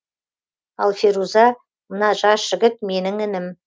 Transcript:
ал феруза мына жас жігіт менің інім